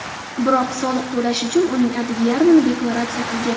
Biroq soliq to‘lash uchun uning atigi yarmini deklaratsiya qilgan.